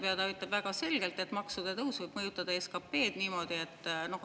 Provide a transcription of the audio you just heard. Ja ta ütleb väga selgelt, et maksude tõus võib mõjutada SKP-d niimoodi, et …